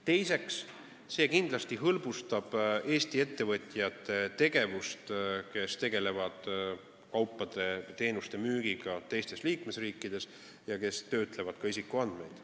Teiseks, see kindlasti hõlbustab Eesti ettevõtjate tegevust, kes tegelevad kaupade või teenuste müügiga teistes liikmesriikides ja töötlevad ka isikuandmeid.